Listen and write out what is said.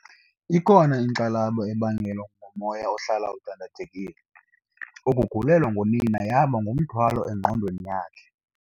Ikhona inkxalabo ebangelwa ngumoya ohlala udandathekile. ukugulelwa ngunina yaba ngumthwalo engqondweni yakhe